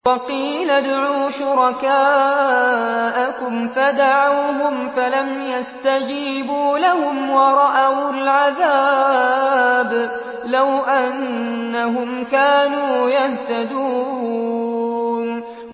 وَقِيلَ ادْعُوا شُرَكَاءَكُمْ فَدَعَوْهُمْ فَلَمْ يَسْتَجِيبُوا لَهُمْ وَرَأَوُا الْعَذَابَ ۚ لَوْ أَنَّهُمْ كَانُوا يَهْتَدُونَ